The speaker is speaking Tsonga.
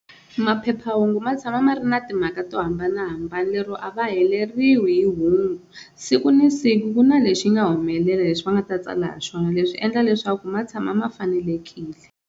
Maphephahungu ma tshama ma ri na timhaka to hambanahambana lero a va heleriwe hi hungu siku ni siku ku na lexi nga humelela leswi va nga ta tsala hi swona leswi endla leswaku ma tshama ma fanelekile.